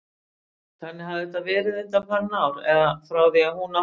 Þannig hafði þetta verið undanfarin ár, eða frá því hún átti